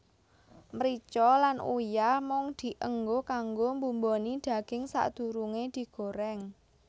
Mrica lan uyah mung dienggo kanggo mbumboni daging sadurunge digoreng